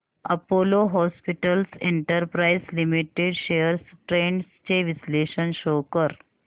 Apollo hospitals enterprise limited shares trends चे विश्लेषण show कर